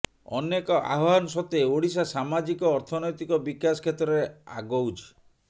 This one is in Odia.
ଅନେକ ଆହ୍ବାନ ସତ୍ତ୍ବେ ଓଡ଼ିଶା ସାମାଜିକ ଅର୍ଥନୈତିକ ବିକାଶ କ୍ଷେତ୍ରରେ ଆଗଉଛି